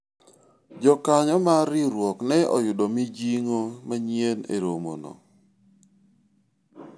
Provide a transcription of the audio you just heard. jokanyo mar riwruok ne oyudo mijingo manyien e romo no